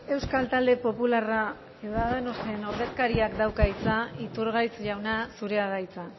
euskal talde popularra ciudadanos en ordezkariak dauka hitza iturgaiz jauna zurea da hitza